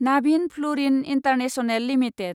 Navin Fluorine International limited